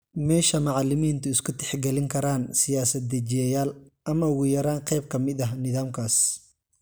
Meesha macalimiintu isku tixgalin karaan siyaasad dejiyeyaal, ama ugu yaraan qayb ka mid ah nidaamkaas.